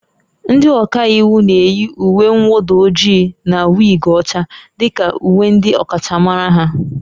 Ndị ọka iwu na-eyi uwe mwụda ojii na wig ọcha dị ka uwe ndị ọkachamara ha